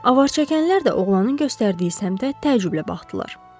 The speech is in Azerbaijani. Avarçəkənlər də oğlanın göstərdiyi səmtə təəccüblə baxdılar.